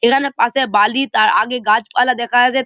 এখানে পাশে বালি তার আগে গাছপালা দেখা আগে।